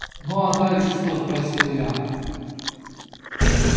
ну а дальше что спросил я